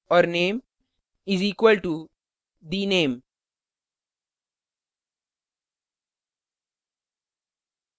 और name is equal to the _ name